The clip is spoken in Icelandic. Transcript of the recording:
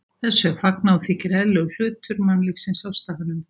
Þessu er fagnað og þykir eðlilegur hluti mannlífsins á staðnum.